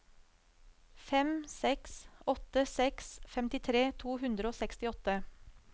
fem seks åtte seks femtitre to hundre og sekstiåtte